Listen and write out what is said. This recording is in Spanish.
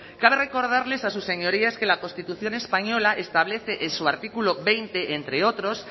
cabe recordarles a sus señorías que la constitución española establece en su artículo veinte entre otros